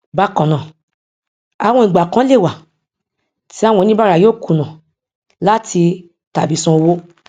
bákannáà àwọn ìgbà kan lè wà tí àwọn oníbàárà yóò kùnà láti tàbí san owó